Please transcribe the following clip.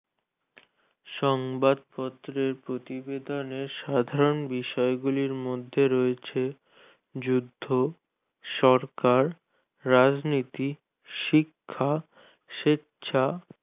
সংবাদপত্রের প্রতিবেদনের সাধারণ বিষয়গুলোর মধ্যে রয়েছে যুদ্ধ সরকার রাজনীতি শিক্ষা স্বেচ্ছা